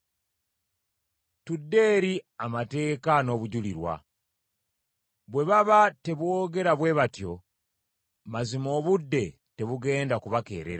Tudde eri amateeka n’obujulirwa! Bwe baba teboogera bwe batyo, mazima obudde tebugenda kubakeerera.